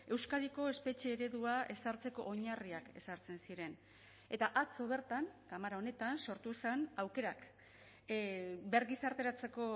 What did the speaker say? euskadiko espetxe eredua ezartzeko oinarriak ezartzen ziren eta atzo bertan kamara honetan sortu zen aukerak bergizarteratzeko